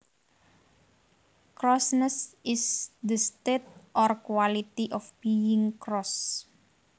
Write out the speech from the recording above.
Crossness is the state or quality of being cross